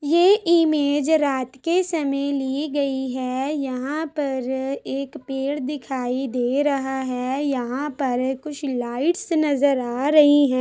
ये इमेज रात के समय ली गई है यहाँ पर एक पेड़ दिखाई दे रहा है यहाँ पर कुछ लाइटस नजर आ रही हैं।